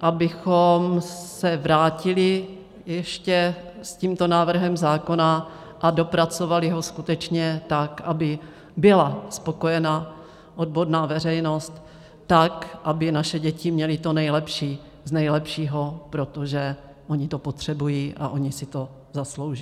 abychom se vrátili ještě s tímto návrhem zákona a dopracovali ho skutečně tak, aby byla spokojena odborná veřejnost, tak, aby naše děti měly to nejlepší z nejlepšího, protože ony to potřebují a ony si to zaslouží.